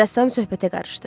Rəssam söhbətə qarışdı.